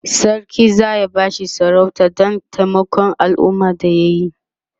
sarki zaya bashi sarauta Dan taimakon alumma da yayi